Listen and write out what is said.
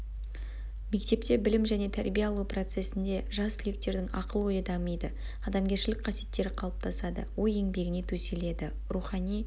мектепте білім және тәрбие алу процесінде жас түлектердің ақыл ойы дамиды адамгершілік қасиеттері қалыптасады ой еңбегіне төселеді рухани